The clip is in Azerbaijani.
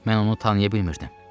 Mən onu tanıya bilmirdim.